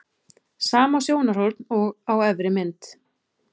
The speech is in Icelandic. Sama sjónarhorn og á efri mynd.